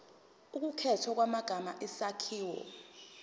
ukukhethwa kwamagama isakhiwo